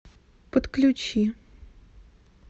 подключи